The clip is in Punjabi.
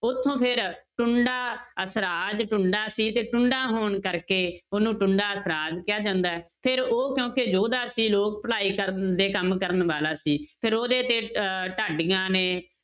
ਉੱਥੋਂ ਫਿਰ ਟੁੰਡਾ ਅਸਰਾਜ ਟੁੰਡਾ ਸੀ ਤੇ ਟੁੰਡਾ ਹੋਣ ਕਰਕੇ ਉਹਨੂੰ ਟੁੰਡਾ ਅਸਰਾਜ ਕਿਹਾ ਜਾਂਦਾ ਹੈ, ਫਿਰ ਉਹ ਕਿਉਂਕਿ ਯੋਧਾ ਸੀ ਲੋਕ ਭਲਾਈ ਕਰਨ ਦੇ ਕੰਮ ਕਰਨ ਵਾਲਾ ਸੀ ਫਿਰ ਉਹਦੇ ਤੇ ਅਹ ਢਾਡੀਆਂ ਨੇ